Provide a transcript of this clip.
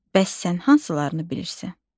Bəs sən hansılarını bilirsən?